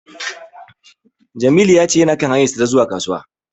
Jamilu ya ce yana kan hanyarsa ta zuwa Kasuwa.